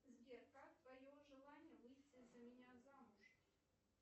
сбер как твое желание выйти за меня замуж